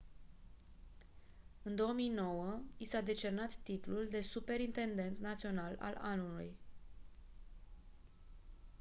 în 2009 i s-a decernat titlul de superintendent național al anului